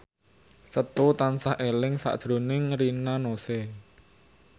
Setu tansah eling sakjroning Rina Nose